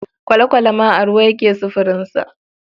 Kwale-kwale ma a ruwa yake sufurinsa.